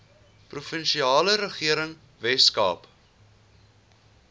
provinsiale regering weskaap